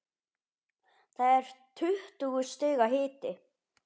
Það er tuttugu stiga hiti.